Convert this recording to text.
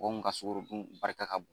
Mɔgɔw mun ka sukoro dun barika ka bon.